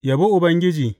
Yabi Ubangiji.